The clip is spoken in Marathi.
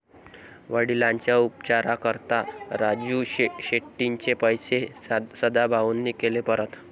वडिलांच्या उपचाराकरता राजू शेट्टींचे पैसे सदाभाऊंनी केले परत!